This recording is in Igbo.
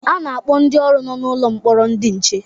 A na-akpọ ndị ọrụ nọ n'ụlọ mkpọrọ ndị nche